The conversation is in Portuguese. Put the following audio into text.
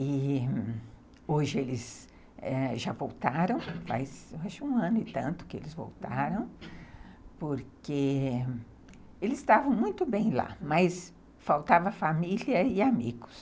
E hoje eles, eh, já voltaram, faz um ano e tanto que eles voltaram, porque eles estavam muito bem lá, mas faltava família e amigos.